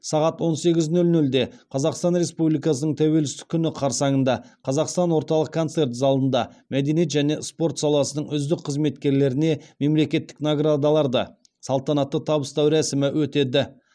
сағат он сегіз нөл нөлде қазақстан республикасының тәуелсіздік күні қарсаңында қазақстан орталық концерт залында мәдениет және спорт саласының үздік қызметкерлеріне мемлекеттік наградаларды салтанатты табыстау рәсімі өтеді